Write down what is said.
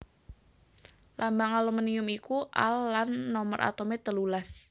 Lambang aluminium iku Al lan nomer atomé telulas